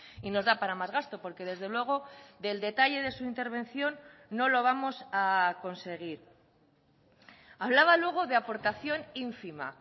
y nos da para más gasto porque desde luego del detalle de su intervención no lo vamos a conseguir hablaba luego de aportación ínfima